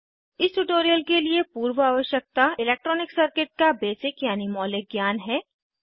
इस ट्यूटोरियल के लिए पूर्व आवश्यकता इलेक्ट्रॉनिक सर्किट का बेसिक यानि मौलिक ज्ञान है